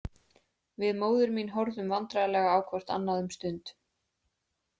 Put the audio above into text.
Við móðir mín horfðum vandræðalega á hvort annað um stund.